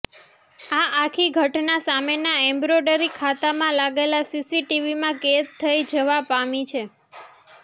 આ આખી ઘટના સામેના એમ્બ્રોઈડરી ખાતામાં લાગેલા સીસીટીવીમાં કેદ થઈ જવા પામી છે